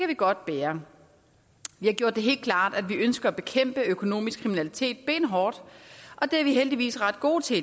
vi godt bære vi har gjort det helt klart at vi ønsker at bekæmpe økonomisk kriminalitet benhårdt og det er vi heldigvis ret gode til